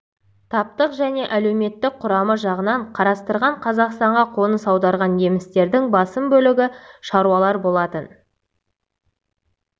таптық және әлеуметтік құрамы жағынан қарастырғанда қазақстанға қоныс аударған немістердің басым бөлігі шаруалар болатын